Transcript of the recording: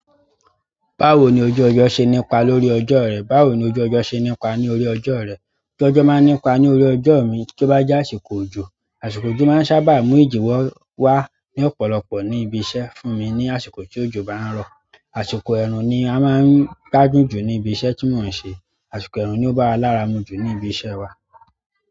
Báwo ni ojú ọjọ́ ṣe nípa lórí ọjọ́ rẹ? Báwo ni ojú ọjọ́ ṣe nípa ní orí ọjọ́ rẹ? Ojú ojo ma n ni pa lórí ojo mi to ba je àsìkò ojo. Àsìkò òjò máa ń sábà mú ìji wá ní ọ̀pọ̀lọpọ̀ ní ibi iṣẹ́ fún mi ní àsìkò tí òjò bá ń rọ̀. Àsìkò ẹ̀rùn ni a máa ń gbàdún jù ní ibi iṣẹ́ tí mò ń ṣe. Àsìkò ẹ̀rùn ni ó bá wa lára mú jù ní ibi iṣẹ́ wa.